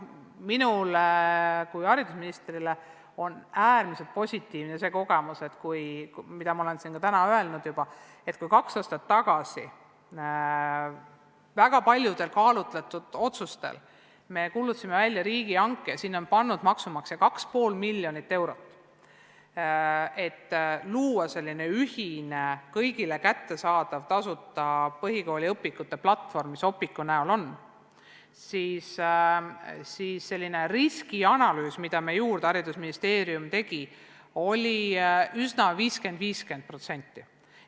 Minule kui haridusministrile on olnud äärmiselt positiivne kogemus see, mida ma olen siin täna ka juba öelnud, et kui me kaks aastat tagasi väga paljude kaalutletud otsuste põhjal kuulutasime välja riigihanke – sinna on maksumaksja pannud 2,5 miljonit eurot –, et luua selline ühine, kõigile kättesaadav tasuta põhikooliõpikute platvorm, mis Opiqu näol nüüd olemas on, siis riskianalüüs, mille Haridus- ja Teadusministeerium tegi, oli üsna 50% : 50%.